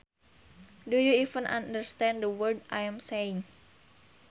Do you even understand the words I am saying